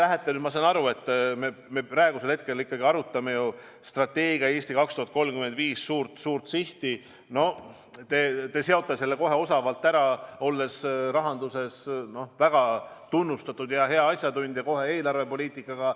Ma saan aru, et me praegusel hetkel ikkagi arutame ju strateegia "Eesti 2035" suurt sihti, teie aga seote selle kohe osavalt, olles rahanduses väga tunnustatud ja hea asjatundja, eelarvepoliitikaga.